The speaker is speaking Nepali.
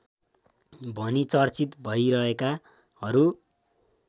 भनी चर्चित भइरहेकाहरू